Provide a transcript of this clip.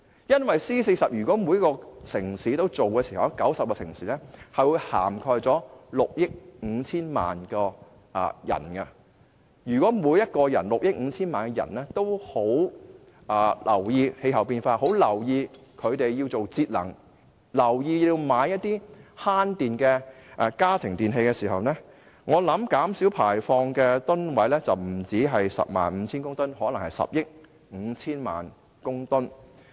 如果 C40 全部90個城市一致行動，有關行動便會涵蓋6億 5,000 萬人，而如果這6億 5,000 萬人都關注氣候變化，並意識到有需要節能和購買省電的家庭電器，我相信可減少排放的二氧化碳將不止 105,000 公噸，而可能是10億 5,000 萬公噸。